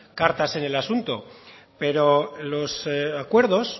cartas en el asunto pero los acuerdos